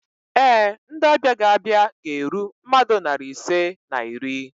Ee, ndị ọbịa ga-abịa ga-eru mmadụ narị ise na iri